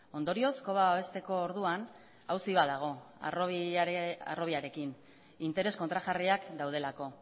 ondorioz koba babesteko orduan auzi bat dago harrobiarekin interes kontrajarriak daudelako